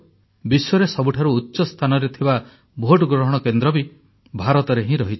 ବିଶ୍ୱରେ ସବୁଠାରୁ ଉଚ୍ଚ ସ୍ଥାନରେ ଥିବା ଭୋଟ ଗ୍ରହଣ କେନ୍ଦ୍ର ମଧ୍ୟ ଭାରତରେ ହିଁ ରହିଛି